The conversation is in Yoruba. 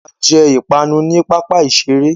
A jẹ ipanu ní pápá iṣere